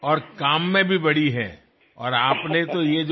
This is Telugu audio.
మీరు చేసిన పనుల వల్లా పెద్దవారే